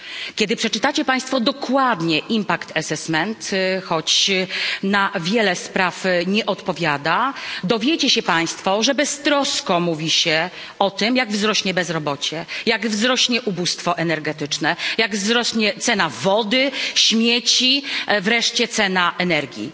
Kiedy przeczytacie państwo dokładnie ocenę skutków choć na wiele spraw nie odpowiada dowiecie się państwo, że beztrosko mówi się o tym, jak wzrośnie bezrobocie, jak wzrośnie ubóstwo energetyczne, jak wzrośnie cena wody, śmieci, wreszcie cena energii.